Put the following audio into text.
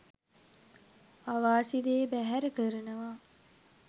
අවාසි දේ බැහැර කරනවා.